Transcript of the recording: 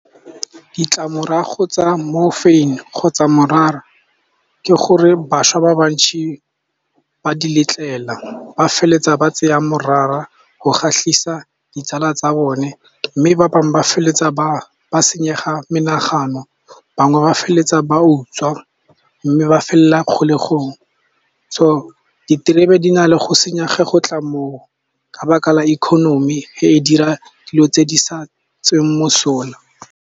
Ditlamorago tsa mo morphine kgotsa morara ke gore bašwa ba ba ntsi ba di letlela, ba feleletsa ba tseya morara go kgatlhisa ditsala tsa bone mme ba bangwe ba feleletsa ba ba senyega menagano. Bangwe ba feleletsa ba utswa mme ba felelela kgolegong. So diterebe di na le go senyega go tla mo o, ka baka la economy e dira dilo tse di sa tsweng mosola.